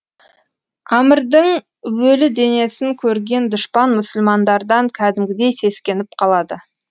амрдің өлі денесін көрген дұшпан мұсылмандардан кәдімгідей сескеніп қалады